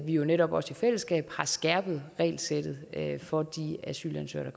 jo netop også i fællesskab har skærpet regelsættet for de asylansøgere